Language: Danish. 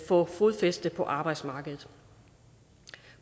få fodfæste på arbejdsmarkedet